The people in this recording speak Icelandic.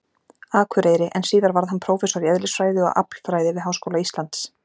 Akureyri, en síðar varð hann prófessor í eðlisfræði og aflfræði við Háskóla Íslands.